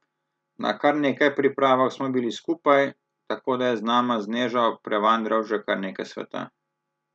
Na kar nekaj pripravah smo bili skupaj, tako da je z nama z Nežo prevandral že kar nekaj sveta.